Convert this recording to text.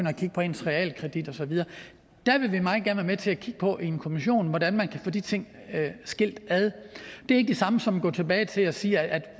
at kigge på ens realkredit og så videre der vil vi meget gerne være med til at kigge på i en kommission hvordan man kan få de ting skilt ad det er ikke det samme som at gå tilbage til at sige at